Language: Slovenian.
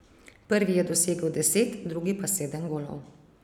Prvi je dosegel deset, drugi pa sedem golov.